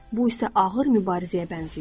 Bu isə ağır mübarizəyə bənzəyir.